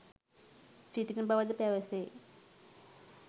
සිටින බවද පැවසේ